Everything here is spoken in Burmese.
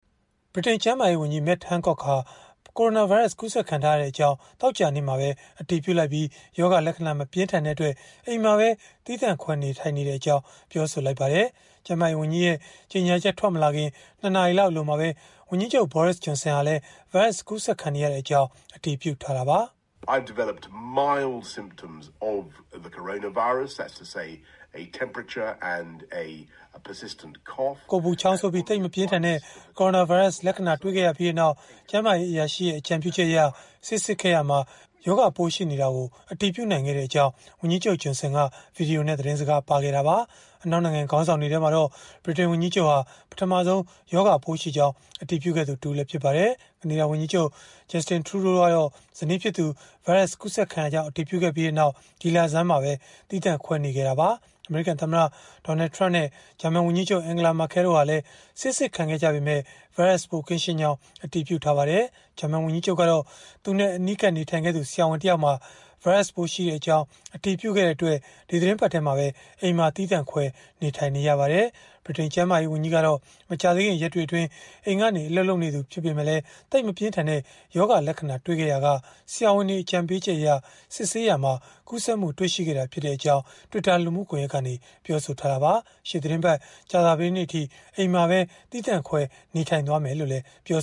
ဗြိတိန်ကျန်းမာရေးဝန်ကြီး Matt Hancock ဟာ ကိုရိုနာဗိုင်းရပ်စ် ကူးစက်ခံထားရကြောင်း သောကြာနေ့မှာပဲ အတည်ပြုလိုက်ပြီး၊ ရောဂါလက္ခဏာ မပြင်းထန်တဲ့အတွက် အိမ်မှာပဲ သီးသန့်ခွဲ နေထိုင်နေကြောင်း ပြောပါတယ်။ ကျန်းမာရေးဝန်ကြီးရဲ့ ကြေညာချက် ထွက်မလာခင် ၂ နာရီလောက် အလိုမှာပဲ ဝန်ကြီးချုပ် Boris Johnson ကလည်း ဗိုင်းရပ်စ် ကူးစက်ခံနေရကြောင်း အတည်ပြု ခဲ့တာပါ။ “ကိုယ်ပူချောင်းဆိုးပြီး သိပ်မပြင်းထန်တဲ့ ကိုရိုနာဗိုင်းရပ်စ် လက္ခဏာတွေ့ခဲ့ရပြီးနောက် ကျန်းမာရေး အရာရှိရဲ့ အကြံပြုချက်အရ ဆေးစစ်ရာမှာ ရောဂါပိုးရှိနေတာကို အတည်ပြုနိုင်ခဲ့ကြောင်း” ဝန်ကြီးချုပ် Johnson ဗွီဒီယိုနဲ့ သတင်းစကားပါးခဲ့တာပါ။ အနောက်နိုင်ငံ ခေါင်းဆောင်တွေထဲမှာတော့ ဗြိတိန်ဝန်ကြီးချုပ်ဟာ ပထမဆုံး ရောဂါပိုးရှိကြောင်း အတည်ပြုခဲ့သူ တဦးလည်း ဖြစ်ပါတယ်။ ကနေဒါဝန်ကြီးချုပ် Justin Trudeau ကတော့ ဇနီးဖြစ်သူ ဗိုင်းရပ်စ်ကူးစက်ခံရကြောင်း အတည်ပြုခဲ့ပြီးနောက် ဒီလဆန်းမှာပဲ သီးသန့်ခွဲနေခဲ့တာပါ။ အမေရိကန်သမ္မတ Donald Trump နဲ့ ဂျာမန်ဝန်ကြီးချုပ် Angela Merkel တို့ဟာလည်း ဆေးစစ်ခံခဲ့ကြပေမဲ့ ဗိုင်းရပ်စ်ပိုးကင်းရှင်းကြောင်း အတည်ပြုထားပါတယ်။ ဂျာမန်ဝန်ကြီးချုပ်ကတော့ သူနဲ့အနီးကပ် နေထိုင်ခဲ့သူ ဆရာဝန်တယောက်မှာ ဗိုင်းရပ်စ်ပိုးရှိကြောင်း အတည်ပြုခဲ့တဲ့အတွက် ဒီသီတင်းပတ်ထဲမှာပဲ အိမ်မှာသီးသန့်ခွဲ နေထိုင်နေရပါတယ်။ ဗြိတိန်ကျန်းမာရေးဝန်ကြီးကတော့ မကြာသေးခင် ရက်တွေအတွင်း အိမ်ကနေ အလုပ်လုပ်နေပေမဲ့ သိပ်မပြင်းထန်တဲ့ ရောဂါလက္ခဏာတွေ့ရှိခဲ့ရာက ဆရာဝန်တွေ အကြံပေးချက်အရ စစ်ဆေးရာမှာ ကူးစက်မှုတွေ့ရှိခဲ့တာ ဖြစ်ကြောင်း Twitter လူမှုကွန်ရက်ကနေ ပြောဆိုခဲ့တာပါ။ ရှေ့သီတင်းပတ် ကြာသပတေးနေ့အထိ အိမ်မှာပဲ သီးသန့်ခွဲ နေထိုင်သွားမယ်လို့လည်း ပြော